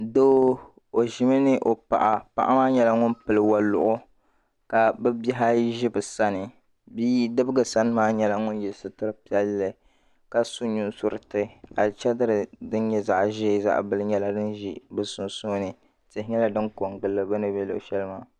Doo o ʒimi ni o paɣa paɣa maa nyɛla ŋun pili wɔluɣu ka bɛ bihi ayi ʒi bɛ sani biidibgi sani maa nyɛla ŋun yɛ sitiri sabinli ka su nusuriti alichidiri din nyɛ zaɣ ʒɛɛ zaɣ bili nyɛla din ʒi di sunsuuni tihi nyɛla din kɔŋ gili li di ni be luɣushɛli maa.